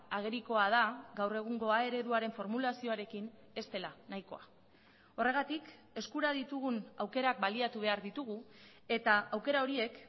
agerikoa da gaur egungo a ereduaren formulazioarekin ez dela nahikoa horregatik eskura ditugun aukerak baliatu behar ditugu eta aukera horiek